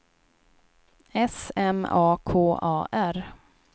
S M A K A R